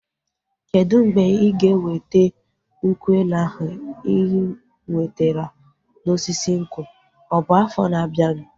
Kedụ mgbe ịga eweta nkwụ elu ahụ ị nwetara na osisi nkwụ? Ọ bụ afọ na abianu